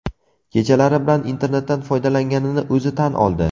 Kechalari bilan internetdan foydalanganini o‘zi tan oldi.